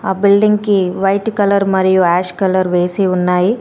ఆ బిల్డింగ్ కి white colour మరియు యాష్ కలర్ వేసి ఉన్నాయి.